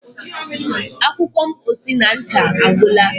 akwụkwọ mposi na ncha agwụla